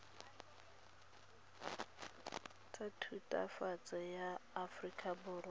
tsa thutafatshe ya aforika borwa